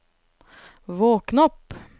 våkn opp